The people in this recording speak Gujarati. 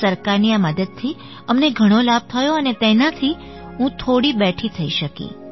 સરકારની આ મદદથી અમને ઘણો લાભ થયો અને તેનાથી હું થોડી બેઠી થઈ શકી